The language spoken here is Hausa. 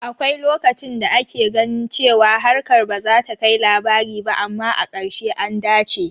Akwai lokacin da ake ganin cewa harkar bazata kai labari ba, amma a ƙarshe, an dace